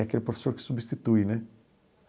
É aquele professor que substitui, né?